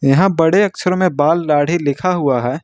यहां बड़े अक्षर में बाल दाढ़ी लिखा हुआ है।